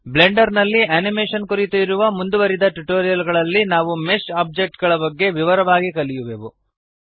Blender ನಲ್ಲಿ animation ಕುರಿತು ಇರುವ ಮುಂದುವರಿದ ಟ್ಯುಟೋರಿಯಲ್ ಗಳಲ್ಲಿ ನಾವು ಮೆಶ್ ಆಬ್ಜೆಕ್ಟ್ ಗಳ ಬಗೆಗೆ ವಿವರವಾಗಿ ಕಲಿಯುವೆವು